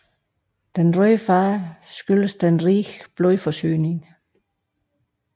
Den røde farve skyldes den rige blodforsyning